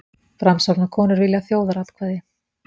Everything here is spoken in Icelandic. Framsóknarkonur vilja þjóðaratkvæði